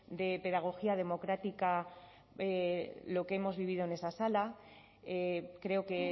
de pedagogía democrática lo que hemos vivido de esa sala creo que